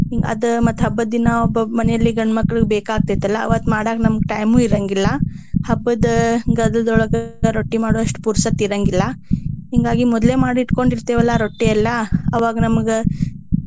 ಅದ ಮತ್ತ ಹಬ್ಬದ ದಿನಾ ಒಬ್ಬೊಬ್ಬರ ಮನೇಲಿ ಗಂಡ ಮಕ್ಳಿಗೆ ಬೇಕಾಗ್ತೇತಿ ಅಲಾ ಅವತ್ತ ಮಾಡಾಕ ನಮ್ಗ time ಇರಾಂಗಿಲ್ಲಾ. ಹಬ್ಬದ ಗದ್ದಲದೊಳಗ ರೊಟ್ಟಿ ಮಾಡೋವಷ್ಟ ಪುರಸೊತ್ತ ಇರಾಂಗಿಲ್ಲಾ. ಹಿಂಗಾಗಿ ಮೊದ್ಲೇ ಮಾಡಿ ಇಟ್ಕೊಂಡಿರ್ತೆವ ಅಲ್ಲಾ ರೊಟ್ಟಿ ಎಲ್ಲಾ ಅವಾಗ ನಮ್ಗ.